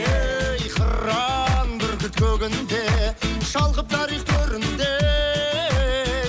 ей қыран бүркіт көгінде шалқып тарих төрінде